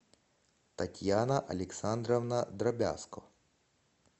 татьяна александровна дробязко